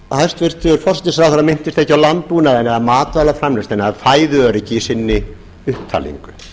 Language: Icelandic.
hæstvirtur forsætisráðherra minntist ekki á landbúnaðinn eða matvælaframleiðsluna eða fæðuöryggi í sinni upptalningu